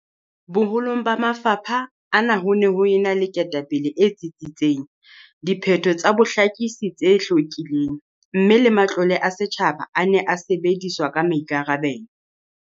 Boholong ba mafapha ana ho ne ho ena le ketapele e tsitsitseng, diphetho tsa bohlakisi tse hlwekileng mme le matlole a setjhaba a ne a sebediswa ka maikarabelo.